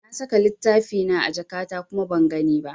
Na saka littafina a jakata kuma ban gani ba.